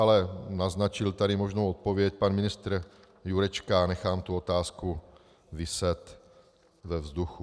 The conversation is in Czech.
Ale naznačil tady možnou odpověď pan ministr Jurečka, nechám tu otázku viset ve vzduchu.